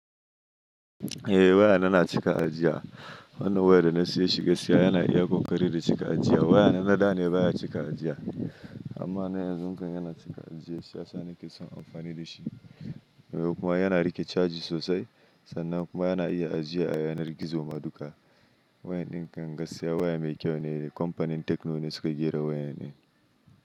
Eh waya na na cika ajiya. Wannan waya da na siya shi gaskiya yana iya kokari da cika ajiya. Wayana na daa ne baya cika ajiya amma na yanzun kan yana cika ajiya. Sha sa ni ke son amfani da shi. Kuma yana rike caji sosai sannan kuma yana iya ajiya a yanar gizo madduka. Waya din kan gaskiya waya mai kyau ne. Company Tecno ne suka gera waya nan.